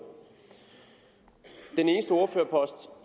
den eneste ordførerpost